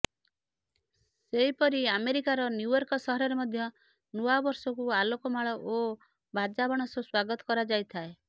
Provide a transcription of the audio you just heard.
ସେହିପରି ଆମେରିକାର ନ୍ୟୁୟର୍କ ସହରରେ ମଧ୍ୟ ନୂଆବର୍ଷକୁ ଆଲୋକମାଳ ଓ ବାଜା ବାଣ ସହ ସ୍ୱାଗତ କରାଯାଇଥାଏ